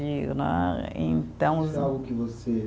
Né, então. Se algo que você